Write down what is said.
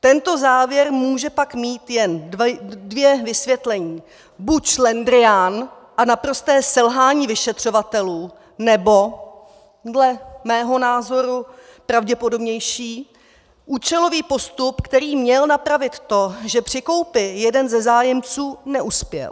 Tento závěr může pak mít jen dvě vysvětlení: buď šlendrián a naprosté selhání vyšetřovatelů, nebo dle mého názoru pravděpodobnější - účelový postup, který měl napravit to, že při koupi jeden ze zájemců neuspěl.